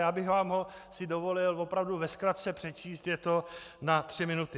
Já bych vám ho si dovolil opravdu ve zkratce přečíst, je to na tři minuty.